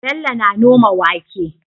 Bello na noma wake